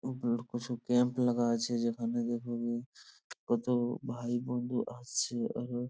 ওপর কিছু টেন্ট লাগা আছে | যেখানে কত ভাই বন্ধু আসছে এবং --